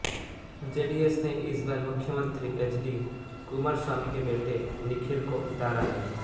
JDS ने इस बार मुख्यमंत्री एचडी कुमारस्वामी के बेटे निखिल को उतारा है